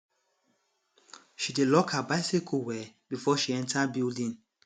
she dey lock her bicycle well before she enter building